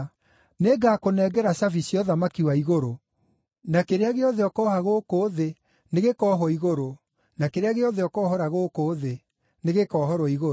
Nĩngakũnengera cabi cia ũthamaki wa igũrũ; na kĩrĩa gĩothe ũkooha gũkũ thĩ nĩgĩkoohwo igũrũ, na kĩrĩa gĩothe ũkoohora gũkũ thĩ, nĩgĩkoohorwo igũrũ.”